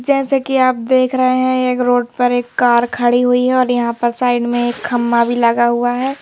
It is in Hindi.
जैसे कि आप देख रहे हैं एक रोड पर एक कार खड़ी हुई है और यहां पर साइड में एक खम्मा भी लगा हुआ है।